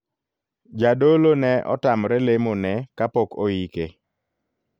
Jadolo ne otamre lemo ne kapok oike.